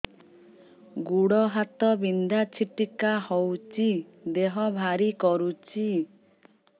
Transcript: ଗୁଡ଼ ହାତ ବିନ୍ଧା ଛିଟିକା ହଉଚି ଦେହ ଭାରି କରୁଚି